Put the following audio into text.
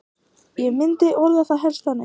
Ég myndi orða það helst þannig.